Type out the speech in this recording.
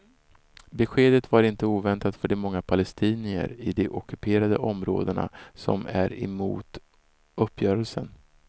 Beskedet var inte oväntat för de många palestinier i de ockuperade områdena som är emot uppgörelsen.